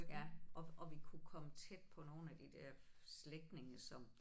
Ja og og vi kunne komme tæt på nogle af de der slægtninge som